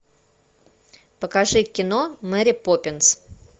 покажи кино мэри поппинс